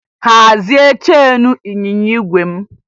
Hazie cheenu ịnyịnya igwe m!